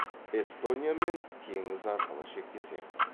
эстониямен теңіз арқылы шектеседі